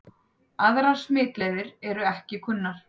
Aðrar smitleiðir eru ekki kunnar.